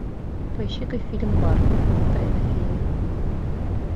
поищи ка фильм барби тайна феи